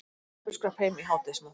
Pabbi skrapp heim í hádegismat.